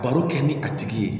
Baro kɛ ni a tigi ye